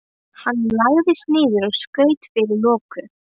Hann lagðist niður og skaut fyrir loku.